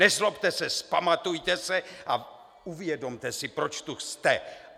Nezlobte se, vzpamatujte se, a uvědomte si, proč tu jste.